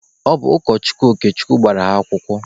Ọ bụ ụkọchukwu Okechukwu gbara ha akwụkwọ.